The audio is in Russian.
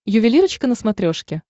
ювелирочка на смотрешке